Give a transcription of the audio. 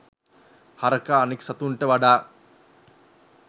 හරකා අනිත් සතුන්ට වඩා